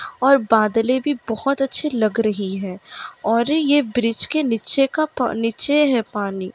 और बादले भी बहोत अच्छे लग रही है और ये ब्रिज के नीचे का प नीचे है पानी।